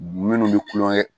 Minnu bɛ kulonkɛ